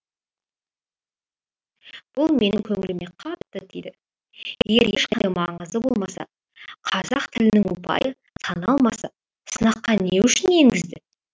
бұл менің көңіліме қатты тиді егер ешқандай маңызы болмаса қазақ тілінің ұпайы саналмаса сынаққа не үшін енгізді